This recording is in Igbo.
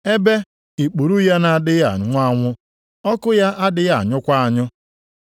ebe “ ‘ikpuru ya na-adịghị anwụ anwụ, ọkụ ya adịghị anyụkwa anyụ.’ + 9:44 Ụfọdụ akwụkwọ na-edebanye okwu ndị a dị nʼamaokwu nke 48.